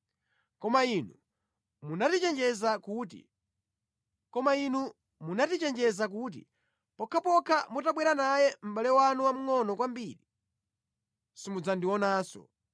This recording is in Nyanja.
Koma inu munatichenjeza kuti, ‘Pokhapokha mutabwera naye mʼbale wanu wamngʼono kwambiri, simudzandionanso.’